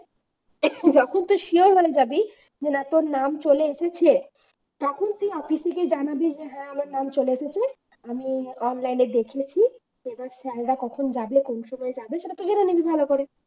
যখন তুই sure হয়ে যাবি না তোর নাম চলে এসেছে তখন তুই office এ গিয়ে জানাবি হ্যাঁ আমার নাম চলে এসেছে, আমি online এ দেখেছি এবার sir রা কখন যাবে কোন সময় যাবে তোরা জেনে নিবি ভালো করে